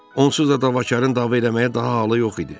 Onsuz da davakarın dava eləməyə daha halı yox idi.